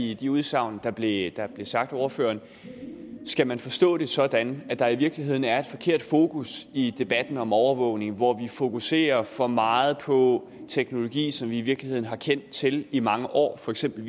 i de udsagn der blev sagt af ordføreren skal man så forstå det sådan at der i virkeligheden er et forkert fokus i debatten om overvågning hvor vi fokuserer for meget på teknologi som vi i virkeligheden har kendt til i mange år for eksempel